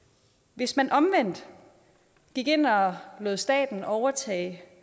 hvis man omvendt gik ind og lod staten overtage